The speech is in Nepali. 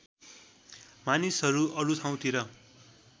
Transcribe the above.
मानिसहरू अरू ठाउँतिर